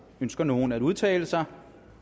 ønsker nogen at udtale sig